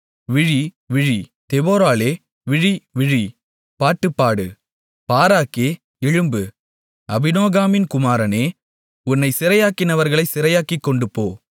விழி விழி தெபொராளே விழி விழி பாட்டுப்பாடு பாராக்கே எழும்பு அபினோகாமின் குமாரனே உன்னைச் சிறையாக்கினவர்களைச் சிறையாக்கிக்கொண்டுபோ